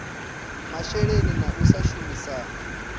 masheleni na u sa shumisana